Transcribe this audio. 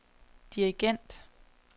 dirigent